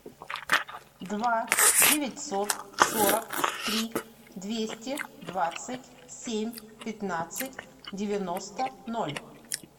два девятьсот сорок три двести двадцать семь пятнадцать девяносто ноль